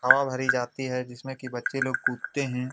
हवा भरी जाती है जिसमें की बच्चे लोग कूदते हैं।